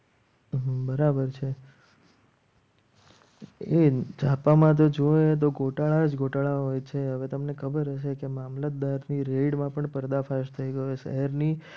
બરાબર છે છાપામાતો તો ગોટાળા જ ગોટાળા હોય છે. હવે તમને ખબર હશે કે મામલતદાર ની રેઇડ માં પણ પડદા ફાસ થઈ ગયો. શહેરની